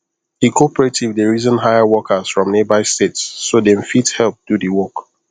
di cooperative dey reason hire workers from nearby states so them fit help do the work